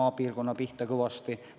maapiirkondade pihta kõvasti löönud ...